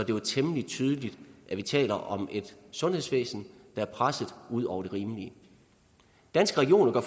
jo er temmelig tydeligt at vi taler om et sundhedsvæsen der er presset ud over det rimelige danske regioner gør